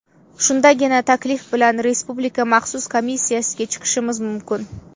Shundagina taklif bilan Respublika maxsus komissiyasiga chiqishimiz mumkin”.